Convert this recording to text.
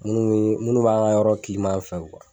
Munnu munnu b'an ka yɔrɔ kiliman fɛ kuwa